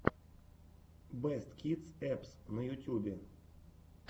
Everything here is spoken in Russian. бэст кидс эппс на ютюбе